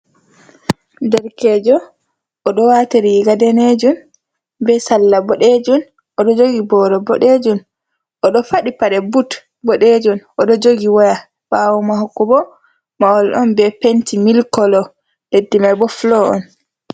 Nderkeejo oɗo waata riga deneejun, be salla boɗeejun. Oɗo jogi booro boɗeejun, oɗo faɗi paɗe but boɗeejun, oɗo jogi waya. Ɓaawo maako bo mahol on be penti mili kolo, leddi mai bo fulo on.